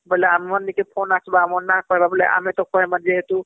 ବୋଇଲେ ଆମ ମନ କେ phone ଆସିବ ଆମେ ନା କହିବାବୋଲେ ଆମେ ତ କହିମା ବୋଲେ ଯେହେତୁ